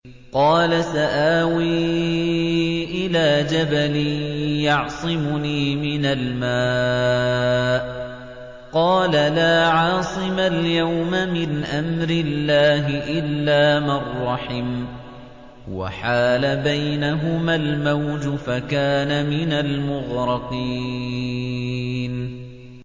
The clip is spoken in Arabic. قَالَ سَآوِي إِلَىٰ جَبَلٍ يَعْصِمُنِي مِنَ الْمَاءِ ۚ قَالَ لَا عَاصِمَ الْيَوْمَ مِنْ أَمْرِ اللَّهِ إِلَّا مَن رَّحِمَ ۚ وَحَالَ بَيْنَهُمَا الْمَوْجُ فَكَانَ مِنَ الْمُغْرَقِينَ